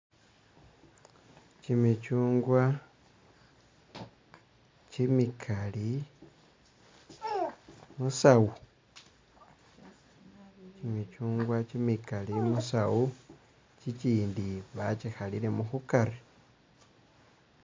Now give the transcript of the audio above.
Kyimikyungwa kyimikali musawu, kyimikyungwa kyimikali musawu ,kyikyindi bakyikhaliremo khukari